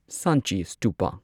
Sanchi ꯁ꯭ꯇꯨꯄꯥ